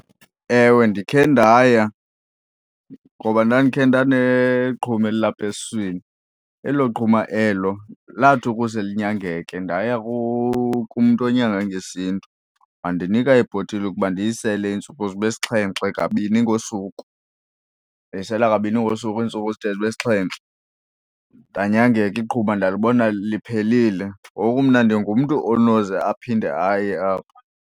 Ewe, ndikhe ndaya ngoba ndandikhe ndaneqhuma elilapha esiswini elo qhuma elo lathi ukuze linyangeke ndaya kumntu onyanga ngesiNtu wandinika ibhotile ukuba ndiyisele iintsuku zibe sixhenxe kabini ngosuku. Ndayisele kabini ngosuku iintsuku zide zibe sixhenxe. Ndanyangeka iqhuma ndalibona liphelile, ngoku mna ndingumntu onoze aphinde aye apho.